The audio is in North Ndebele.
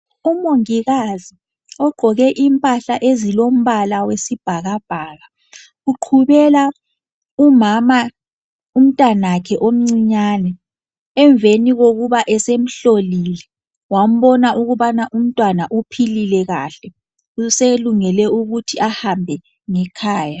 Umongikazi ogqoke impahla ezilombala wesibhakabhaka uqhubebela umama umntanakhe omcinyane emveni kokuba esemhlolile wambona ukubana umntwana uphilile kahle uselungele ukuthi ahambe ngekhaya.